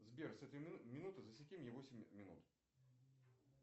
сбер с этой минуты засеки мне восемь минут